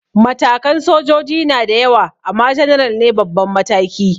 Matakan sojoji na da yawa ama janaral ne babban mataki